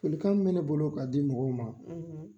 Folikan min be ne bolo ka di mɔgɔw ma